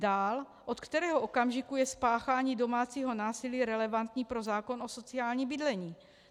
Dál - od kterého okamžiku je spáchání domácího násilí relevantní pro zákon o sociálním bydlení?